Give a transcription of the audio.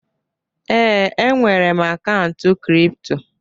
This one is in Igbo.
Ee, enwere m akaụntụ kripto.